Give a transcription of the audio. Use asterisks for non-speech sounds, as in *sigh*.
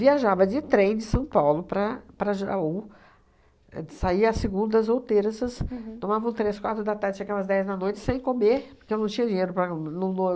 Viajava de trem de São Paulo para para Jaú, saía às segundas ou terças, tomava um três, quatro da tarde chegava às dez da noite sem comer, porque eu não tinha dinheiro para *unintelligible*